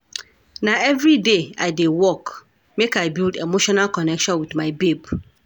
Na everyday I dey work make I build emotional connection wit my babe.